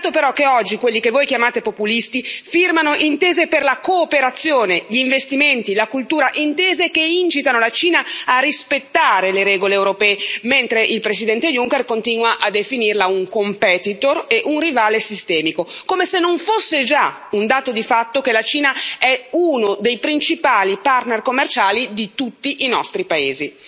Peccato però che oggi quelli che voi chiamate populisti firmano intese per la cooperazione, gli investimenti e la cultura, intese che incitano la Cina a rispettare le regole europee, mentre il Presidente Juncker continua a definirla un competitor e un rivale sistemico, come se non fosse già un dato di fatto che la Cina è uno dei principali partner commerciali di tutti i nostri paesi.